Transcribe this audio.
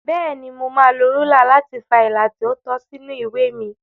Bẹ́ẹ̀ni, mo máa lo rúlà láti fa ilà tí ó tọ́ sínú ìwé mi.